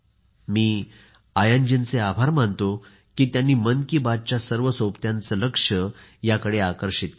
मी आयनजीचे आभार मानतो की त्यांनी मन की बातच्या सर्व सोबत्यांचे लक्ष याकडे आकर्षित केले